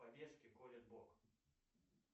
по детски колет бок